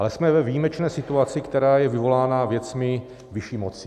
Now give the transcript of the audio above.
Ale jsme ve výjimečné situaci, která je vyvolána věcmi vyšší moci.